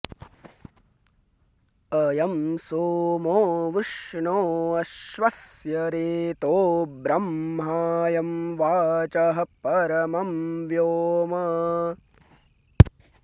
अ॒यं सोमो॒ वृष्णो॒ अश्व॑स्य॒ रेतो॑ ब्र॒ह्मायं वा॒चः प॑र॒मं व्यो॑म